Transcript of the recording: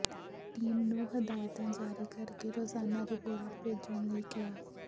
team ਨੂੰ ਹਦਾਇਤਾਂ ਜਾਰੀ ਕਰ ਕੇ ਰੋਜ਼ਾਨਾ ਰਿਪੋਰਟ ਭੇਜਣ ਲਈ ਕਿਹਾ